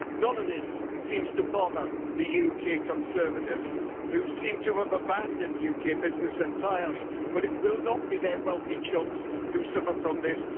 None of this seems to bother the UK Conservatives, who seem to have abandoned UK business entirely, but it will not be their wealthy chums who suffer from this.